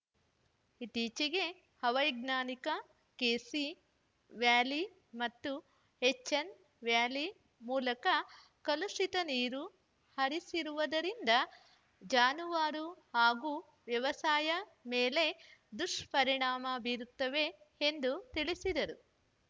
ಇತ್ತೀಚೆಗೆ ಅವೈಜ್ಞಾನಿಕ K C valley ಮತ್ತು ಎಚ್‌ಎನ್‌ ವ್ಯಾಲಿ ಮೂಲಕ ಕಲುಷಿತ ನೀರು ಹರಿಸಿರುವುದರಿಂದ ಜಾನುವಾರು ಹಾಗೂ ವ್ಯವಸಾಯದ ಮೇಲೆ ದುಷ್ಪರಿಣಾಮ ಬೀರುತ್ತವೆ ಎಂದು ತಿಳಿಸಿದರು